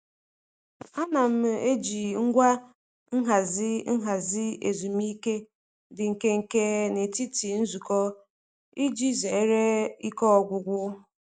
Ana m eji ngwa nhazi ahazi ezumike dị nkenke n'etiti nzukọ iji zeere ike ọgwụgwụ.